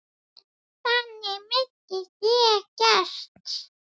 Þannig minnist ég Gests.